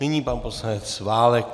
Nyní pan poslanec Válek.